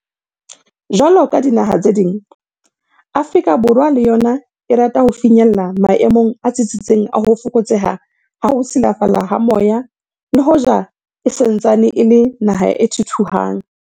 Jwalo ka dinaha tse ding, Afrika Borwa le yona e rata ho finyella maemong a tsitsitseng a ho fokotseha ha ho silafala ha moya le hoja e sa ntsaneng e le naha e thuthuhang.